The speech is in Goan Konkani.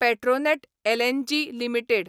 Petronet LNG limited